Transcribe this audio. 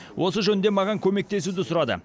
осы жөнінде маған көмектесуді сұрады